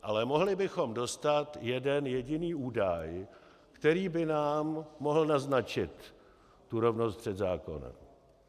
Ale mohli bychom dostat jeden jediný údaj, který by nám mohl naznačit tu rovnost před zákony.